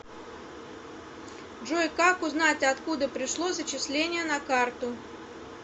джой как узнать откуда пришло зачисление на карту